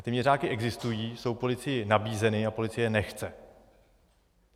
A ty měřáky existují, jsou policii nabízeny a policie je nechce.